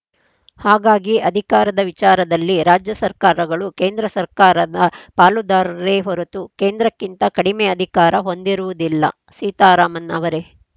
ಹಾಗಾಗಿ ಅಧಿಕಾರದ ವಿಚಾರದಲ್ಲಿ ರಾಜ್ಯ ಸರ್ಕಾರಗಳು ಕೇಂದ್ರ ಸರ್ಕಾರದ ಪಾಲುದಾರರೇ ಹೊರತು ಕೇಂದ್ರಕ್ಕಿಂತ ಕಡಿಮೆ ಅಧಿಕಾರ ಹೊಂದಿರುವುದಿಲ್ಲ ಸೀತಾರಾಮನ್‌ ಅವರೇ